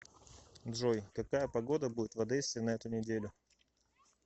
джой какая погода будет в одессе на эту неделю